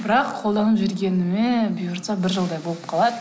бірақ қолданып жүргеніме бұйыртса бір жылдай болып қалады